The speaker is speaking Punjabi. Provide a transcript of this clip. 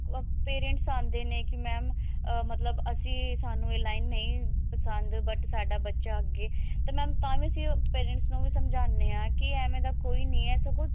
ਉਹ parents ਆਉਂਦੇ ਨੇ ਕੀ mam ah ਮਤਲਬ ਅਸੀਂ ਸਾਨੂੰ ਇਹ line ਨਹੀ but ਸਾਡਾ ਬੱਚਾ ਅੱਗੇ ਤੇ mam ਤਾਂ ਵੀ ਅਸੀਂ ਉਹ parents ਨੂੰ ਵੀ ਸ੍ਮ੍ਝਾਉਣੇ ਹਾਂ ਕੀ ਆਵੇ ਦਾ ਕੋਈ ਨਹੀ ਹੈ ਸਗੋਂ